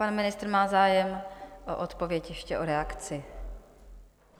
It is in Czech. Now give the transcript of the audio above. Pan ministr má zájem o odpověď, ještě o reakci.